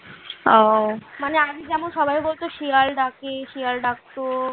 মানে আগে যেমন সবাই বলতো শিয়াল ডাকে শিয়াল ডাকতো ।